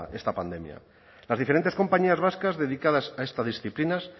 esta pandemia las diferentes compañías vascas dedicadas a estas disciplinas